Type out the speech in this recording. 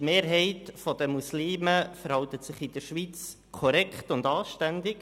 Die Mehrheit der Muslime verhält sich in der Schweiz korrekt und anständig.